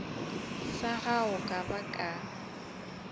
sa gago ka ba ka